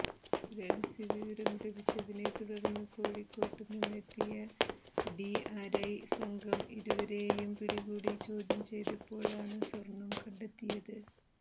രഹസ്യ വിവരം ലഭിച്ചതിനെ തുടര്ന്ന് കോഴിക്കോട് നിന്നെത്തിയ ഡിആര്ഐ സംഘം ഇരുവരേയും പിടികൂടി ചോദ്യം ചെയ്തപ്പോഴാണ് സ്വര്ണം കണ്ടെത്തിയത്